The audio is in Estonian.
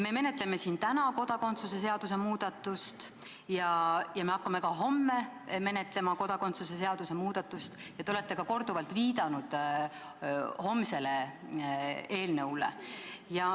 Me menetleme siin täna kodakondsuse seaduse muudatust ja me hakkame ka homme menetlema kodakondsuse seaduse muudatust ja te olete korduvalt ka viidanud homsele eelnõule.